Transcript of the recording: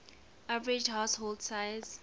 average household size